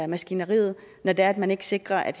maskineriet når det er at man ikke sikrer at